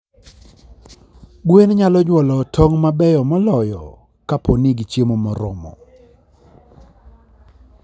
Gwen nyalo nyuolo tong' mabeyo moloyo kapo ni gichiemo moromo.